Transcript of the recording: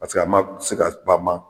Paseke que a ma se ka bama